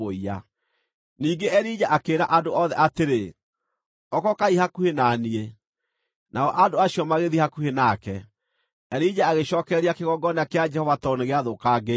Ningĩ Elija akĩĩra andũ othe atĩrĩ, “Okokaai hakuhĩ na niĩ” Nao andũ acio magĩthiĩ hakuhĩ nake. Elija agĩcookereria kĩgongona kĩa Jehova tondũ nĩgĩathũkangĩtio.